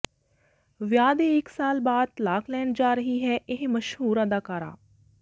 ਵਿਆਹ ਦੇ ਇੱਕ ਸਾਲ ਬਾਅਦ ਤਲਾਕ ਲੈਣ ਜਾ ਰਹੀ ਹੈ ਇਹ ਮਸ਼ਹੂਰ ਅਦਾਕਾਰਾ